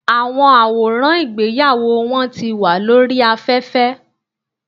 Àwọn àwòràn ìgbéyàwó wọn ti wà lórí aféfé